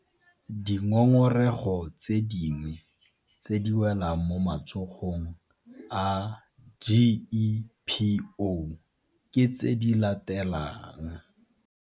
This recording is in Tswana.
Dingongorego tse dingwe tse di welang mo matsogong a GEPO ke tse di latelang.